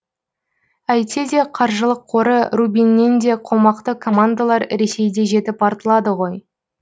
әйтсе де қаржылық қоры рубиннен де қомақты командалар ресейде жетіп артылады ғой